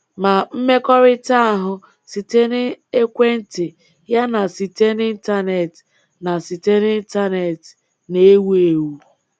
Ma mmekọrịta ahụ site na ekwentị ya na site n’Intanet na site n’Intanet na-ewu ewu.